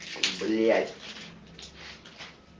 блядь